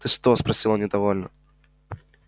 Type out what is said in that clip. ты что спросил недовольно